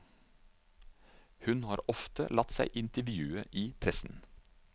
Hun har ofte latt seg intervjue i pressen.